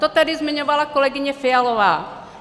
To tady zmiňovala kolegyně Fialová.